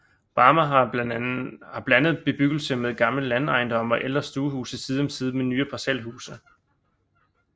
Barmer har en blandet bebyggelse med gamle landejendomme og ældre stuehuse side om side med nyere parcelhuse